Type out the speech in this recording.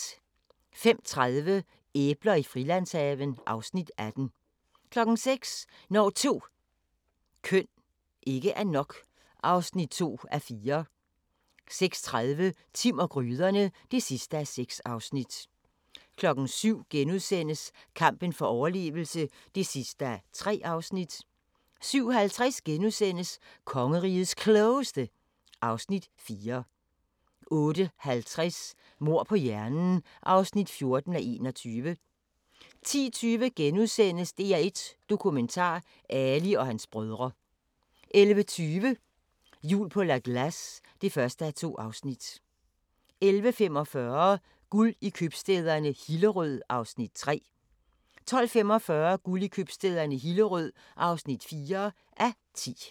05:30: Æbler i Frilandshaven (Afs. 18) 06:00: Når 2 køn ikke er nok (2:4) 06:30: Timm og gryderne (6:6) 07:00: Kampen for overlevelse (3:3)* 07:50: Kongerigets Klogeste (Afs. 4)* 08:50: Mord på hjernen (14:21) 10:20: DR1 Dokumentar: Ali og hans brødre * 11:20: Jul på La Glace (1:2) 11:45: Guld i købstæderne - Hillerød (3:10) 12:45: Guld i købstæderne - Hillerød (4:10)